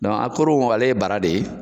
Dɔn aporo ale ye bara de ye